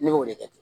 Ne b'o de kɛ